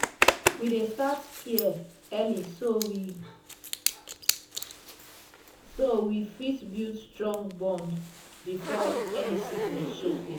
we dey start care early so we so we so we fit build strong bond before any sickness show face.